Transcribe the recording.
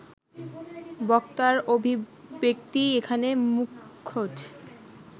বক্তার অভিব্যক্তিই এখানে মুখ্যচ